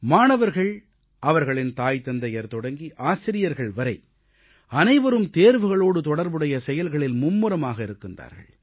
மாணவர்கள் அவர்களின் தாய் தந்தையர் தொடங்கி ஆசிரியர்கள் வரை அனைவரும் தேர்வுகளோடு தொடர்புடைய செயல்களில் மும்முரமாக இருக்கிறார்கள்